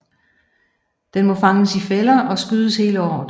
Den må fanges i fælder og skydes hele året